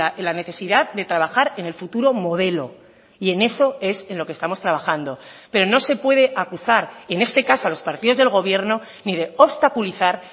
en la necesidad de trabajar en el futuro modelo y en eso es en lo que estamos trabajando pero no se puede acusar en este caso a los partidos del gobierno ni de obstaculizar